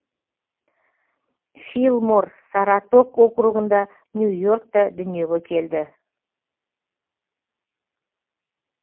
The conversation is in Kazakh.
филлмор саратог округінде нью йоркта дүниеге келді